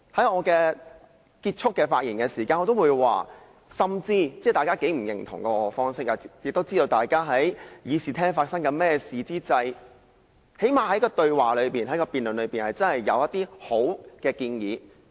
我在發言結束前表示，即使大家都不認同我的做法，大家至少都知道會議廳內發生甚麼事，在辯論中可以提出一些好的建議。